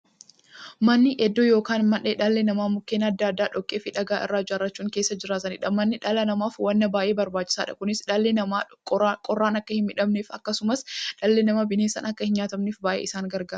Manni iddoo yookiin mandhee dhalli namaa Mukkeen adda addaa, dhoqqeefi dhagaa irraa ijaarachuun keessa jiraataniidha. Manni dhala namaaf waan baay'ee barbaachisaadha. Kunis, dhalli namaa qorraan akka hinmiidhamneefi akkasumas dhalli namaa bineensaan akka hinnyaatamneef baay'ee isaan gargaara.